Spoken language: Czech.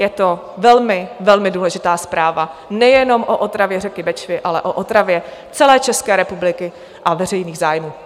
Je to velmi, velmi, důležitá zpráva nejenom o otravě řeky Bečvy, ale o otravě celé České republiky a veřejných zájmů.